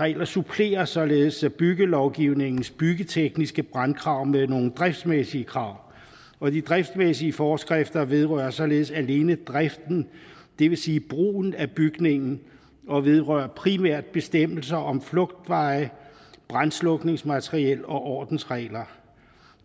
regler supplerer således byggelovgivningens byggetekniske brandkrav med nogle driftsmæssige krav og de driftsmæssige forskrifter vedrører således alene driften det vil sige brugen af bygningen og vedrører primært bestemmelser om flugtveje og brandslukningsmateriel og ordensregler